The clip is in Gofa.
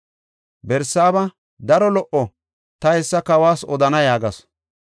Barsaaba, “Daro lo77o; ta hessa kawas odana” yaagasu.